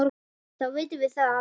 Þá vitum við það!